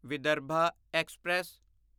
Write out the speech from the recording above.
Vidarbha express